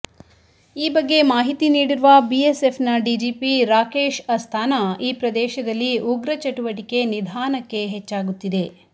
ಈ ಬಗ್ಗೆ ಮಾಹಿತಿ ನೀಡಿರುವ ಬಿಎಸ್ಎಫ್ನ ಡಿಜಿಪಿ ರಾಕೇಶ್ ಅಸ್ತಾನಾ ಈ ಪ್ರದೇಶದಲ್ಲಿ ಉಗ್ರ ಚಟುವಟಿಕೆ ನಿಧಾನಕ್ಕೆ ಹೆಚ್ಚಾಗುತ್ತಿದೆ